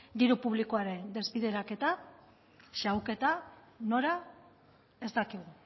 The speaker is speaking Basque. diru publikoaren desbideraketa xahuketa nora ez dakigu